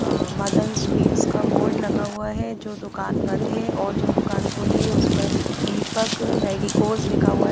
अ Madan sweets का board लगा हुआ है जो दुकान बन्द है और जो दुकान खुली है उस पर दीपक मेडिकोज लिखा हुआ।